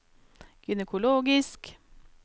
gynekologisk